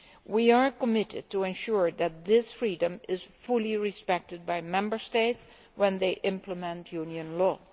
We are committed to ensuring that this freedom is fully respected by Member States when they implement Union law.